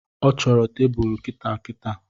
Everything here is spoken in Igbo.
Ọ chọro tebulu kitaakitaa